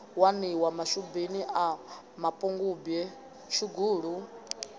waniwa mashubini a mapungubwe tshugulu